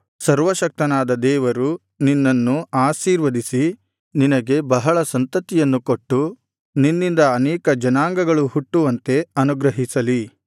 ಸರ್ವಶಕ್ತನಾದ ದೇವರು ನಿನ್ನನ್ನು ಆಶೀರ್ವದಿಸಿ ನಿನಗೆ ಬಹಳ ಸಂತತಿಯನ್ನು ಕೊಟ್ಟು ನಿನ್ನಿಂದ ಅನೇಕ ಜನಾಂಗಗಳು ಹುಟ್ಟುವಂತೆ ಅನುಗ್ರಹಿಸಲಿ